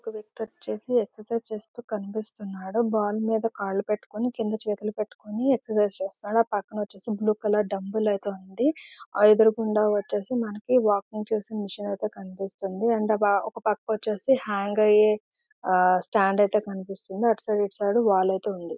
ఇక్కడ ఇద్దరు ఎక్సర్సిస్ చేస్తు కినిపిస్తునారు. బాల్ మీద కాళ్ళు పేట్టుకుని క్రింది చేతులు పట్టుకొని ఎక్సర్సిస్ చేస్తున్నారు. అ ప్రక్కన వచెసేసి బ్లూ కలర్ ధాబాలి ఐతే ఉంది. అదురుగుండా వచ్చేసి మనకీ వాకింగ్ చేసా మెషిన్ ఐతే కనిపిస్తోంది. అండ్ ఒక ప్రక్కన వచ్చేసి హ్యాంగ్ ఇయ్య స్టాండ్ ఐతే కనిపిస్తోంది. అటు సైడ్ ఇటు సైడ్ వాల్ ఐతే ఉంది.